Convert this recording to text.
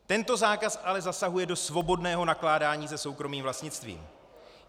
Tento zákaz ale zasahuje do svobodného nakládání se soukromým vlastnictvím.